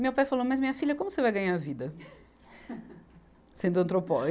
Meu pai falou, mas minha filha, como você vai ganhar a vida sendo antropóloga?